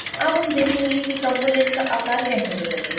अब हम देखेंगे कि component का आकर कैसे बदलते हैं